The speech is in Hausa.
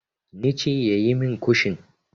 Ne ce yayi min kushin.